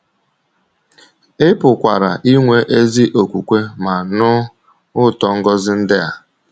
Ị pụkwara inwe ezi okwukwe ma nụ ụtọ ngọzi ndị a.